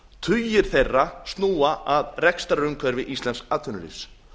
tugir þeirra snúa að rekstrarumhverfi íslensks atvinnulífs